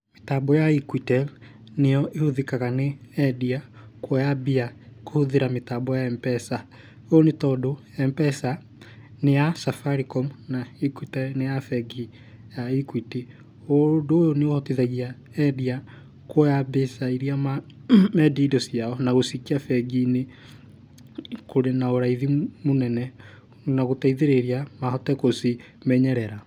Mĩtambo ya Equitel nĩyo ĩhũthĩkaga nĩ endia kuoya mbia kũhũthĩra mĩtambo ya M-PESA.Ũũ nĩ tondũ M-PESA nĩ ya Safaricom na Equitel nĩ ya bengi ya Equity. Ũndũ ũyũ nĩ ũhotithagia endia kuoya mbeca iria mendia indo ciao na gũciĩkĩra bengi-inĩ kũrĩ na ũraithi mũnene na gũteithĩrĩria mahote gũcimenyerera.